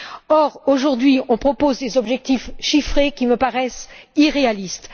Or, aujourd'hui, on propose des objectifs chiffrés qui me paraissent irréalistes.